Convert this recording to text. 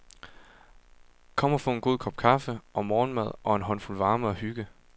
Kom og få en god kop kaffe og morgenmad og en håndfuld varme og hygge.